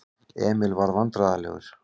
Emil varð vandræðalegur.